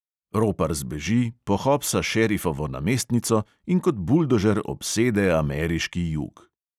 Ropar zbeži, pohopsa šerifovo namestnico in kot buldožer obsede ameriški jug.